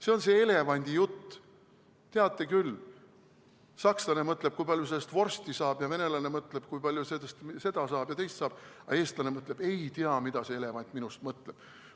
See on see elevandijutt, teate küll: sakslane mõtleb, kui palju sellest vorsti saab, ja venelane mõtleb, kui palju sellest seda ja teist saab, aga eestlane mõtleb, et ei tea, mida see elevant minust mõtleb.